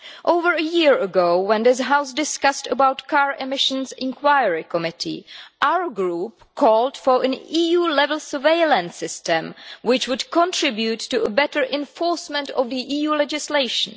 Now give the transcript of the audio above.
Over a year ago, when this House discussed the car emissions inquiry committee, our Group called for an EU level surveillance system which would contribute to better enforcement of EU legislation.